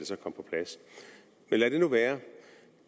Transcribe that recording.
så kom på plads men lad det nu være